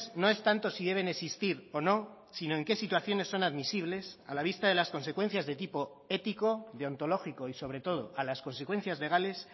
no es tanto si deben existir o no sino en qué situaciones son admisibles a la vista de las consecuencias de tipo ético deontológico y sobre todo a las consecuencias legales